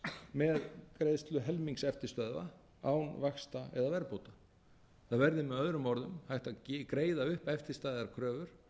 með greiðslu helmings eftirstöðva án vaxta eða verðbóta það verði með öðrum orðum hægt að greiða upp eftirstæðar kröfur